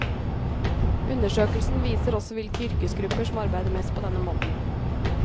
Undersøkelsen viser også hvilke yrkesgrupper som arbeider mest på denne måten.